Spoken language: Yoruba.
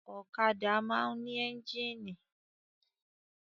Ọ̀kadà máa ń ní ẹ́ńjínì.